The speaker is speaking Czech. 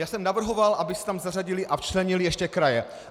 Já jsem navrhoval, aby se tam zařadily a včlenily ještě kraje.